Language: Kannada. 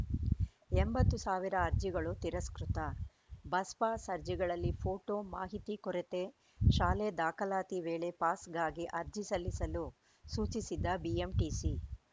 ಎಂಬತ್ತು ಸಾವಿರ ಅರ್ಜಿಗಳು ತಿರಸ್ಕೃತ ಬಸ್‌ಪಾಸ್‌ ಅರ್ಜಿಗಳಲ್ಲಿ ಫೋಟೋ ಮಾಹಿತಿ ಕೊರತೆ ಶಾಲೆ ದಾಖಲಾತಿ ವೇಳೆ ಪಾಸ್‌ಗಾಗಿ ಅರ್ಜಿ ಸಲ್ಲಿಸಲು ಸೂಚಿಸಿದ್ದ ಬಿಎಂಟಿಸಿ